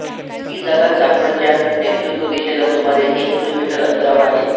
ही जागा चाफळच्या नैर्ऋत्य दिशेला सुमारे एक किलोमीटर अंतरावर आहे